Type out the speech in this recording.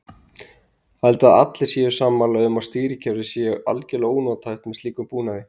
Ég held að allir séu sammála um að stýrikerfið sé algjörlega ónothæft með slíkum búnaði.